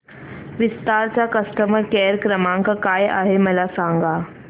विस्तार चा customer care क्रमांक काय आहे मला सांगा